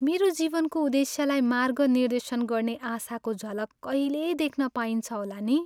मेरो जीवनको उद्देश्यलाई मार्गनिर्देशन गर्ने आशाको झलक कहिले देख्न पाइन्छ होला नि!